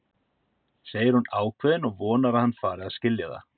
segir hún ákveðin og vonar að hann fari að skilja það.